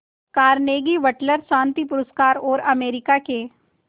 Carnegie Wateler शांति पुरस्कार और अमेरिका के